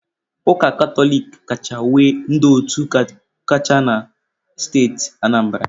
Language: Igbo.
Ụka Katọlik kacha nwee ndị otu kacha na steeti Anambra.